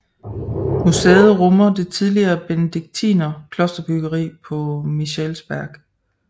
Museet rummer det tidligere benediktiner klosterbryggeri på Michelsberg